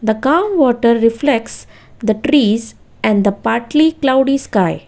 Groundwater reflects the trees and the partly cloudy sky